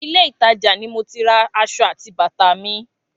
Ilé ìtajà ni mo ti ra aṣọ àti bàtà mi